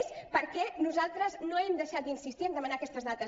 és perquè nosaltres no hem deixat d’insistir a demanar aquestes dades